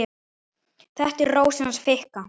Þetta er Rósin hans Fikka.